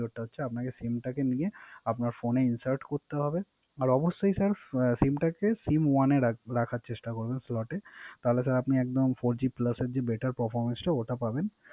সেটা হচ্ছে Sim টা নিয়ে আপনার ফোনে Insert করতে হবে। আর অবশ্যই স্যার Sim টাকে Sim one এ রাখার চেস্টা করতে হবে। Slote তাহলে আপনি একদম Four G plus of the data performance টা ওটা পাবেন